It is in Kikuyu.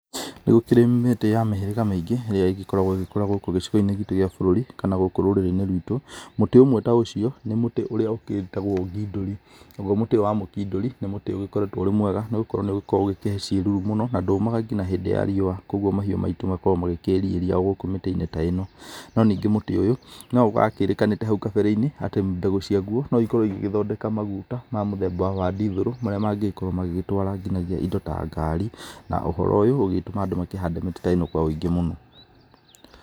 Nĩ gũkĩrĩ mĩtĩ ya mĩhĩrĩga mĩingĩ ĩrĩa ĩgĩkoragwo ĩgĩkũra gũkũ gĩcigo-inĩ gĩtũ gĩa bũrũri, kana gũkũ rũrĩrĩ-inĩ rwitũ, mũtĩ ũmwe ta ũcio nĩ mũtĩ ũrĩa ũgĩtagwo ngindũri. Naguo mũtĩ ũyũ wa mũkindũri nĩ mũtĩ ũgĩkoretwo ũrĩ mwega, nĩ gũkorwo nĩ ũgũkorwo ũgĩkĩhe ciĩruru mũno, na ndũũmaga nginya hĩndĩ ya riũa, kũguo mahiũ maitũ makoragwo makĩĩriĩria mĩtĩ-inĩ ta ĩno. No ningĩ mũtĩ ũyũ no wakĩrĩkanĩte hau kabere-inĩ atĩ mbegũ ciaguo no ikorwo igĩgĩthondeka maguta ma mũthemba wa ndithũrũ marĩa mangĩgĩkorwo magĩtwara nginyagia indo ta ngari, na ũhoro ũyũ ũgĩtũma andũ makĩhande mĩtĩ ĩno kwa ũingĩ mũno.